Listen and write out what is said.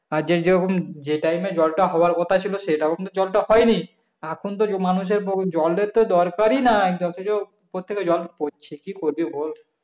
আজেকে যখন যে time এ জলটা হওয়ার কথা ছিলো সেটাও আমরা জলটা পাইনি এখন তো মানুষের যে জলের তো দরকার ই নাই অথচ কোথা থেকে জল পড়ছে